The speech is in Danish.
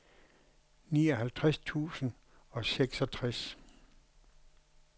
nioghalvtreds tusind og seksogtres